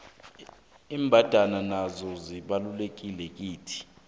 imbandana nazo zibalulekile kithi